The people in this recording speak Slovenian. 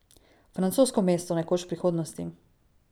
Francosko mesto, nekoč v prihodnosti.